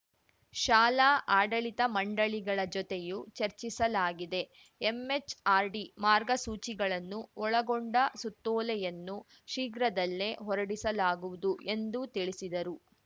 ಶಾಲಾ ಆಡಳಿತ ಮಂಡಳಿಗಳ ಜತೆಯೂ ಚರ್ಚಿಸಲಾಗಿದೆ ಎಂಎಚ್‌ಆರ್‌ಡಿ ಮಾರ್ಗಸೂಚಿಗಳನ್ನು ಒಳಗೊಂಡ ಸುತ್ತೋಲೆಯನ್ನು ಶೀಘ್ರದಲ್ಲೇ ಹೊರಡಿಸಲಾಗುವುದು ಎಂದು ತಿಳಿಸಿದರು